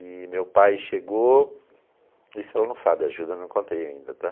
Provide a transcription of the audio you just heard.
E meu pai chegou, isso ela não sabe, a Gilda não contei ainda, tá?